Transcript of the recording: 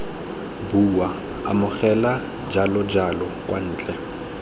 bua amogela jalojalo kwa ntle